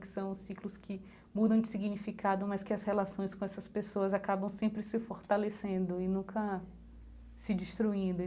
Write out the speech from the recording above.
Que são os ciclos que mudam de significado, mas que as relações com essas pessoas acabam sempre se fortalecendo e nunca se destruindo.